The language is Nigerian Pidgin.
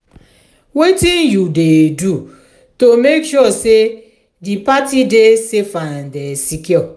wetin you dey do to make sure say di party dey safe and secure?